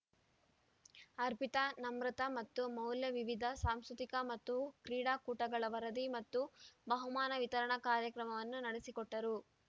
ಅರ್ಪಿತಾ ನಮ್ರತಾ ಮತ್ತು ಮೌಲ್ಯ ವಿವಿಧ ಸಾಂಸ್ಕೃತಿಕ ಮತ್ತು ಕ್ರೀಡಾಕೂಟಗಳ ವರದಿ ಮತ್ತು ಬಹುಮಾನ ವಿತರಣಾ ಕಾರ್ಯಕ್ರಮವನ್ನು ನಡೆಸಿಕೊಟ್ಟರು